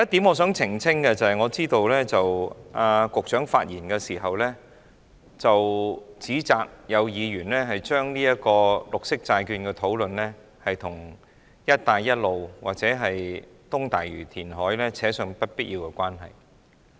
我想澄清一點，我知道局長發言時指責有議員把綠色債券的討論與"一帶一路"或東大嶼的填海工程扯上不必要的關係。